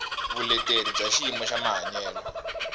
vuleteri bya xiyimo xa mahanyelo